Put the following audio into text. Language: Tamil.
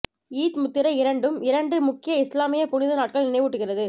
ஈத் முத்திரை இரண்டும் இரண்டு முக்கிய இஸ்லாமிய புனித நாட்கள் நினைவூட்டுகிறது